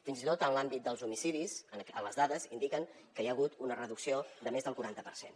fins i tot en l’àmbit dels homicidis les dades indiquen que hi ha hagut una reducció de més del quaranta per cent